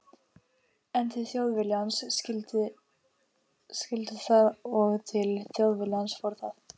En til Þjóðviljans skyldi það og til Þjóðviljans fór það.